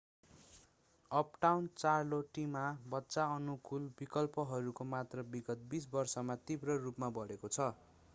uptown चार्लोटीमा बच्चा अनुकूल विकल्पहरूको मात्रा विगत 20 वर्षमा तीव्र रूपमा बढेको छ